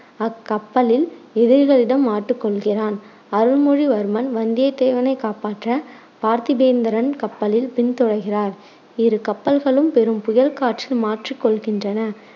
அக்கப்பலில் எதிரிகளிடம் மாட்டிக் கொள்கிறான். அருள்மொழிவர்மன் வந்தியத்தேவனை காப்பாற்ற பார்த்திபேந்தரன் கப்பலில் பின்தொடர்கிறார். இரு கப்பல்களும் பெரும் புயல்காற்றில் மாட்டிக் கொள்கின்றன.